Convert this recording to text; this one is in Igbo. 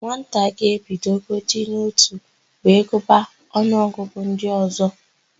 Nwata ga-ebidogodi n'ótù wee gụba ọnụọgụgụ ndị ọ̀zọ́.